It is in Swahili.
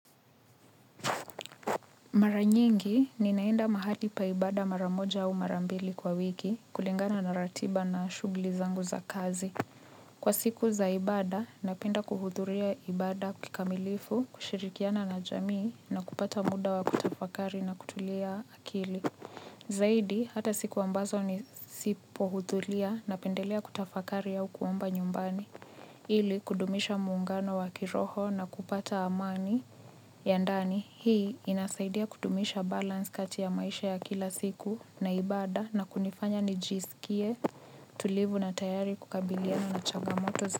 Mara nyingi ninaenda mahali pa ibada mara moja au mara mbili kwa wiki kulingana na ratiba na shughuli zangu za kazi. Kwa siku za ibada, napenda kuhudhuria ibada kikamilifu, kushirikiana na jamii na kupata muda wa kutafakari na kutulia akili. Zaidi, hata siku ambazo nisipohudhuria napendelea kutafakari au kuomba nyumbani. Ili kudumisha muungano wa kiroho na kupata amani ya ndani hii inasaidia kudumisha balance kati ya maisha ya kila siku na ibada na kunifanya nijisikie tulivu na tayari kukabiliana na changamoto za.